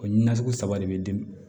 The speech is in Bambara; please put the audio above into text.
O nasugu saba de bɛ di